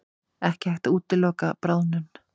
Ekki hægt að útiloka bráðnun